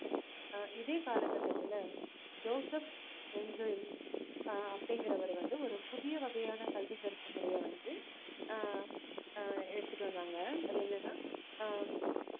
இதே கால கட்டத்துல ஜோசப் ஆஹ் அப்படிங்கிறவர் வந்து ஒரு புதிய வகையான கல்வி கற்பு முறைய வந்து ஆஹ் ஆஹ் எடுத்துட்டு வந்தாங்க அது என்னன்னா ஆஹ்